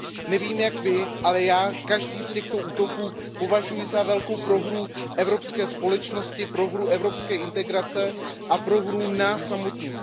Nevím jak vy, ale já každý z těchto útoků považuji za velkou prohru evropské společnosti, prohru evropské integrace a prohru nás samotných.